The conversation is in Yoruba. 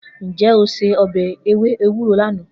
Nje o se obe ewe ewuro lana?